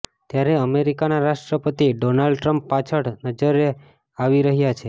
ત્યારે અમેરિકાના રાષ્ટ્રપતિ ડોનાલ્ડ ટ્રમ્પ પાછળ નજરે આવી રહ્યા છે